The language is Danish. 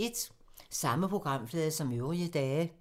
Samme programflade som øvrige dage